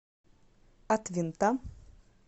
от винта